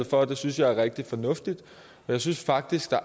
for det synes jeg er rigtig fornuftigt jeg synes faktisk